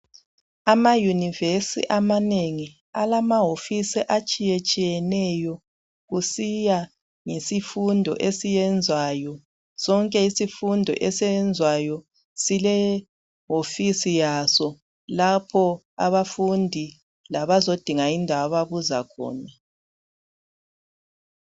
ama universe amanengi alamawofisi atshiyetshiyeneyo kusiya ngeifundo esiyenzwayo sonke isifundo esiyenzwayo sile wofisi yaso lapho abafundi labazodinga indawo ababuza khona